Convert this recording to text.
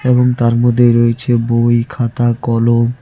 এবং তার মধ্যে রয়েছে বই খাতা কলম।